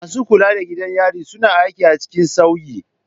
Masu kula da gidan yari suna aiki a cikin sauyi.